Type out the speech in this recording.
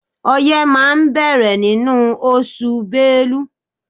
Ọyẹ́ máa bẹ̀rẹ̀ nínú oṣù Bélú.